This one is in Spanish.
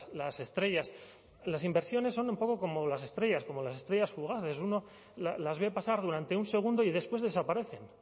las estrellas las inversiones son un poco como las estrellas como las estrellas fugaces uno las ve pasar durante un segundo y después desaparecen